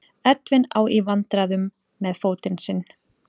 Edwin á í vandræðum með fótinn sinn.